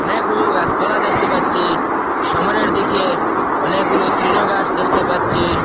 অনেকগুলো গাছপালা দেখতে পাচ্ছি সামনের দিকে অনেকগুলো তৃণ গাছ দেখতে পাচ্ছি।